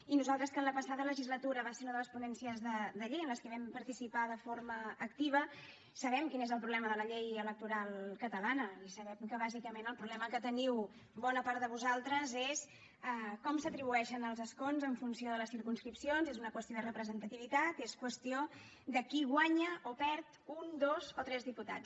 i nosaltres que en la passada legislatura va ser una de les ponències de llei en què vam participar de forma activa sabem quin és el problema de la llei electoral catalana i sabem que bàsicament el problema que teniu bona part de vosaltres és com s’atribueixen els escons en funció de les circumscripcions és una qüestió de representativitat és qüestió de qui guanya o perd un dos o tres diputats